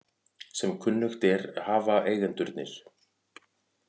Sem kunnugt er hafa eigendurnir